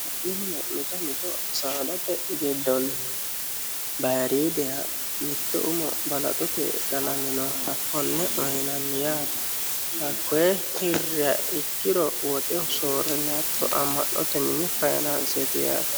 Mitto mitto saadate giddoni bayiridiha balaxote qalaminoha kone uyinanni yaate kone hiriro woxeho soorine ama'note mini faayinaanseti yaate.